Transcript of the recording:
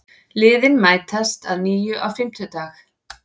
Liðin mætast að nýju á fimmtudag